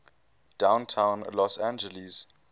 downtown los angeles